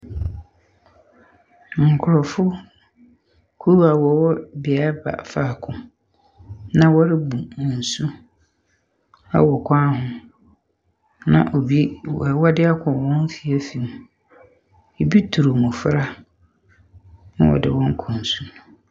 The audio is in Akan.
Nkrɔfokuo a wɔwɔ bea faako na wɔrebu nsu wɔ kwan ho. Na obira de akɔ hɔn afie afie mu. Ebi turu mmofra na ɔde wɔn kɔ nsu.